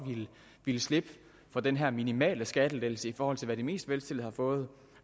ville slippe for den her minimale skattelettelse set i forhold til hvad de mest velstillede har fået